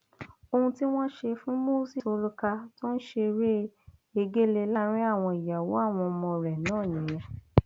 ohun tí wọn ṣe fún moses olùkà tó ń ṣeré egéle láàrin àwọn ìyàwó àwọn ọmọ rẹ náà nìyẹn